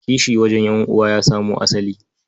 Kishi wajen ƴan'uwa ya samo asali.